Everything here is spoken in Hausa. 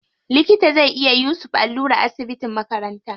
Likita zai iya yusuf allura a asibitin makaranta.